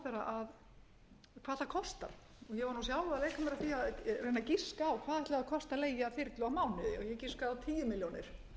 að reyna að giska á hvað ætli kosti að leigja þyrlu á mánuði og ég giskaði á tíu milljónir